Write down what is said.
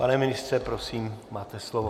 Pane ministře, prosím, máte slovo.